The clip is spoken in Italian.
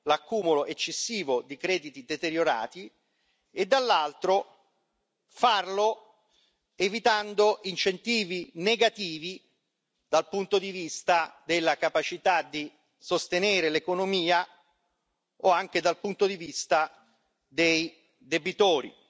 l'accumulo eccessivo di crediti deteriorati, e dall'altro farlo evitando incentivi negativi dal punto di vista della capacità di sostenere l'economia o anche dal punto di vista dei debitori,